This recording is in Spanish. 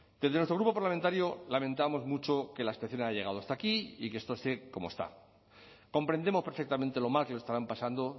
desde nuestro grupo parlamentario lamentamos mucho que la situación haya llegado hasta aquí y que esto esté como está comprendemos perfectamente lo mal que lo estarán pasando